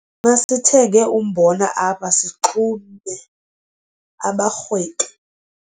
Masithenge umbona apha sixume abarhwebi